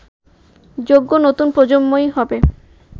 যোগ্য নতুন প্রজন্মই হবে